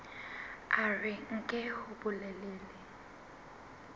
a re nke hore bolelele